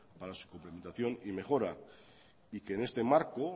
para su complementación y mejora y que en este marco